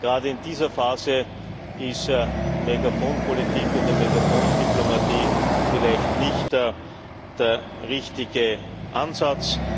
Gerade in dieser Phase ist Megafonpolitik oder Megafondiplomatie vielleicht nicht der richtige Ansatz.